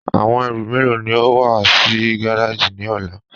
Awọn èrú mélo ni o mú wà sí gàràjì ni ọ̀là?